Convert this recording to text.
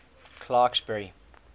clarksburry